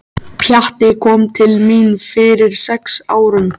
Pjatti kom til mín fyrir sex árum.